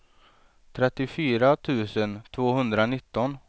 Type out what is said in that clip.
trettiofyra tusen tvåhundranitton